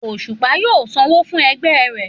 Òṣùpá yóò sanwó fún ẹgbẹ́ rẹ̀